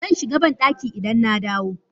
Zan shiga bandaki idan na dawo.